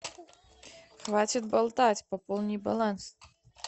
хватит болтать пополни баланс